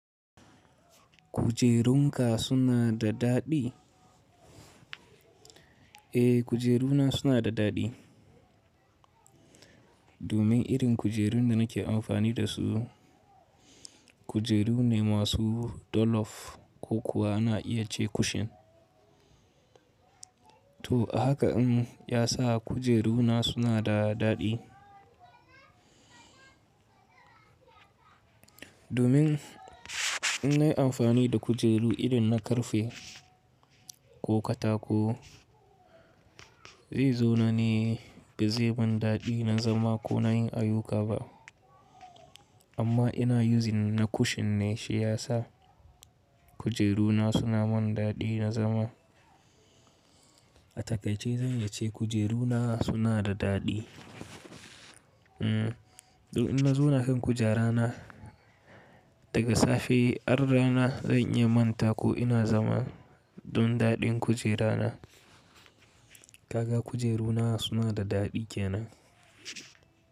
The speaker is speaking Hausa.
Kujerunka suna da daɗi? Eh, kujeruna suna da daɗi. Domin irin kujerun da nake amfani dasu kujeru ne masu dolof ko kuwa ana iya ce cushion. To a haka in ya sa kujeruna suna da daɗi. Domin in nayi amfani da kujeru irin na karfe ko katako, zai zo na ne ba zai man daɗi na zama ko na yin ayuka ba. Amma ina using na cushion ne shi ya sa kujeruna suna mun daɗi na zama. A takaice zan iya ce kujeruna suna da daɗi. Hmm, don in na zauna kan kujerana daga safe har rana zan iya manta ko ina zama don daɗin kujerana. Kaga kujeruna suna da daɗi kenan.